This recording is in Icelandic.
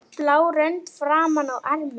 blá rönd framan á ermum.